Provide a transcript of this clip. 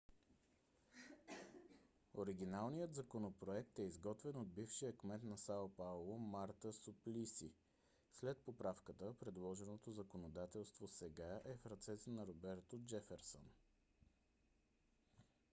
оригиналният законопроект е изготвен от бившия кмет на сао пауло марта суплиси. след поправката предложеното законодателство сега е в ръцете на роберто джеферсън